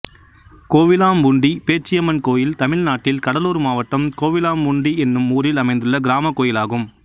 கோவிலாம்பூண்டி பேச்சியம்மன் கோயில் தமிழ்நாட்டில் கடலூர் மாவட்டம் கோவிலாம்பூண்டி என்னும் ஊரில் அமைந்துள்ள கிராமக் கோயிலாகும்